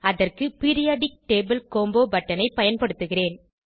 அதற்கு periodic table combo பட்டனை பயன்படுத்துகிறேன்